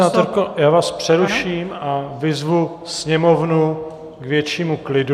Paní senátorko, já vás přeruším a vyzvu sněmovnu k většímu klidu.